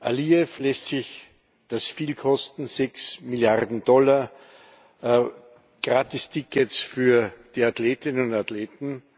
Alijew lässt sich das viel kosten sechs Milliarden Dollar, Gratistickets für die Athletinnen und Athleten.